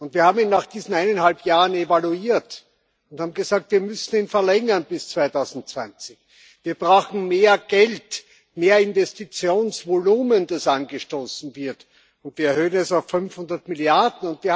Wir haben ihn nach diesen eineinhalb Jahren evaluiert und haben gesagt Wir müssen ihn verlängern bis 2020, und wir brauchen mehr Geld, mehr Investitionsvolumen, das angestoßen wird, und wir erhöhen es auf 500 Milliarden.